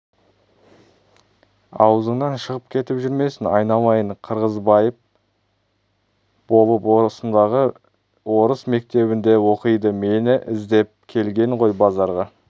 аузыңнан шығып кетіп жүрмесін айналайын қырғызбайып болып осындағы орыс мектебінде оқиды мені іздеп келген ғой базарға